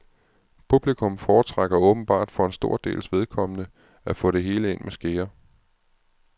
Publikum foretrækker åbenbart for en stor dels vedkommende at få det hele ind med skeer.